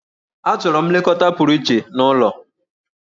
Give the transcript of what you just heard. Achọrọ m nlekọta pụrụ iche n'ụlọ.